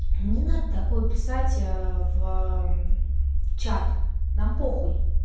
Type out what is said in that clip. не надо такое писать в чат нам по хуй